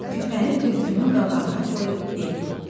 Küpəni Tülkünün qabağına qoyub dedi: